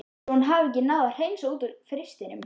Svo hún hafði ekki náð að hreinsa út úr frystinum.